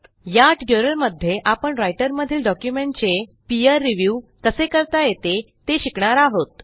या ट्युटोरियलमध्ये आपण रायटरमधील डॉक्युमेंटचे पीर रिव्ह्यू कसे करता येते ते शिकणार आहोत